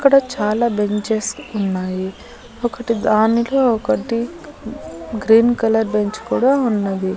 అక్కడ చాలా బెంచస్ ఉన్నాయి ఒకటి దానిలో ఒకటి గ్రీన్ కలర్ బెంచ్ కూడా ఉన్నది.